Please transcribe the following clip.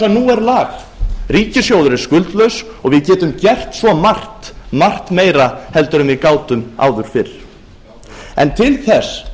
nú er lag ríkissjóður er skuldlaus og við getum gert svo margt margt meira en við gátum áður fyrr til þess